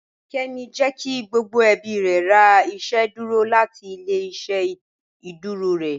Kẹ́mí jẹ́ kí gbogbo ẹ̀bí rẹ̀ rà ìṣẹ̀dúrò láti ilẹ̀-ìṣẹ̀ ìṣẹ̀dúrò rẹ